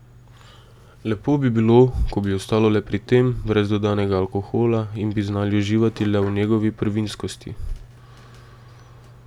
Lepo bi bilo, ko bi ostalo le pri tem, brez dodanega alkohola, in bi znali uživati le v njegovi prvinskosti.